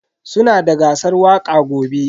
Sunada gasar waƙa gobe.